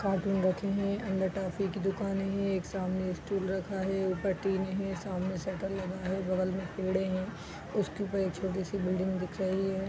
रखी हैं अंदर टॉफी की दुकान है | एक सामने स्टूल रखा है | ऊपर टीने हैं | सामने शटर लगा है बगल में पेड़ें हैं | उसके ऊपर एक छोटी सी बिल्डिंग दिख रही है।